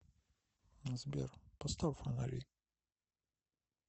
сбер поставь фонари